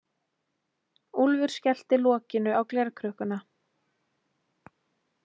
Úlfur skellti lokinu á glerkrukkuna.